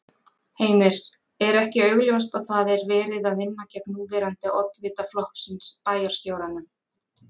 Heimir: Er ekki augljóst að það er verið að vinna gegn núverandi oddvita flokksins, bæjarstjóranum?